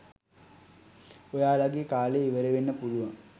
ඔයාලගේ කාලය ඉවරවෙන්න පුලුවන්.